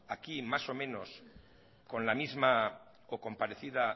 aquí más o menos con la misma o con parecida